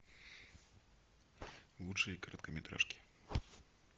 лучшие короткометражки